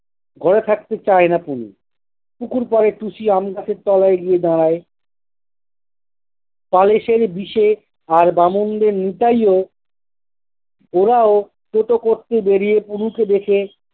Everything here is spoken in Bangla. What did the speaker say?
গলা ছাড়তে চায় না কুনি। পুকুর পাড়ে টুসি আমি গাছের তলায় গিয়ে দাঁড়ায়। প্যালেসের বিশে আর বামনদের নিতাই ও ওরাও টো টো করতে বেরিয়ে কুনুকে দেখে